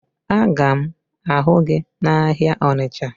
Aga m ahụ gị n'ahịa Ọnịcha